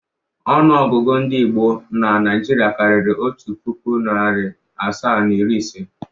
Ọnụọgụgụ ndị Igbo na Naịjirịa karịrị otu puku, narị asaa na iri ise.